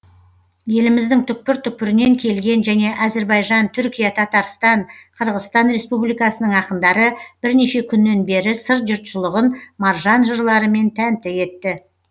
еліміздің түкпір түкпірінен келген және әзірбайжан түркия татарстан қырғызстан республикасының ақындары бірнеше күннен бері сыр жұртшылығын маржан жырларымен тәнті етті